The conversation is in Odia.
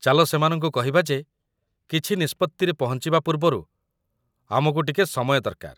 ଚାଲ ସେମାନଙ୍କୁ କହିବା ଯେ କିଛି ନିଷ୍ପତ୍ତିରେ ପହଞ୍ଚିବା ପୂର୍ବରୁ ଆମକୁ ଟିକେ ସମୟ ଦରକାର ।